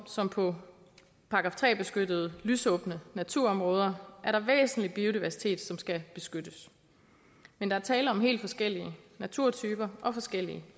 som på § tre beskyttede lysåbne naturområder er der væsentlig biodiversitet som skal beskyttes men der er tale om helt forskellige naturtyper og forskellige